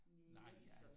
Næ